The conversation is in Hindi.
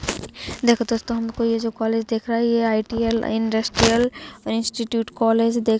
देखो दोस्तों हमको ये जो कॉलेज दिख रहा है ये आई.टी.एल. इंडस्ट्रियल इंस्टिट्यूट कॉलेज देख --